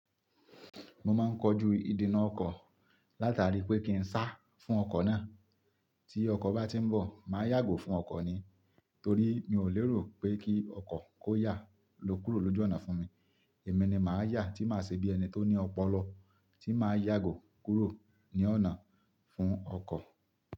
Mo máa ń kojú ìdènà ọkọ̀, látara pé kí ń sá fún ọkọ̀ náà. Tí ọkọ̀ bá tí ń bọ̀, màá yàgò fún ọkọ̀ ni. Torí mi ò lérò pé kí ọkọ̀ kó yà lo kúrò lójú ọ̀nà fún mi. Èmi ni màá yà tí màá ṣe bí ẹni tó ní ọpọlọ, tí màá yàgò kúrò ní ọ̀nà fún ọkọ̀.